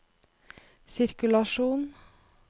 sirkulasjon